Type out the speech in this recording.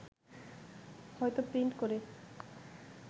হয়তো প্রিন্ট করে